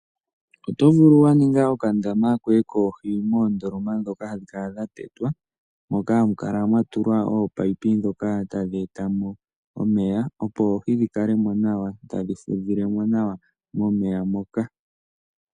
Otovulu waninga okandama koye koohi moondoloma ndhoka hadhi kala dhatetwa moka hamu kala mwatulwa oominino ndoka tadhi etamo omeya opo oohi dhikalemo nawa tadhi fudhilemo nawa momeya moka .